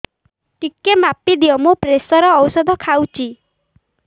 ଟିକେ ମାପିଦିଅ ମୁଁ ପ୍ରେସର ଔଷଧ ଖାଉଚି